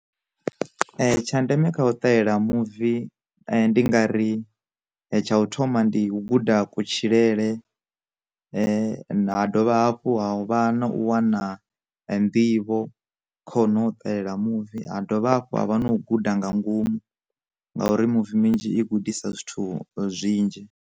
Tsha ndeme kha u ṱahela muvi ndi nga ri tsha u thoma ndi u guda kutshilele, ha dovha hafhu ha vha na u wana nḓivho khono o takalela muvi, ha dovha hafhu ha vha na u guda nga ngomu ngauri muvi minzhi i gudisa zwithu zwinzhi.